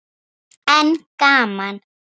En gaman.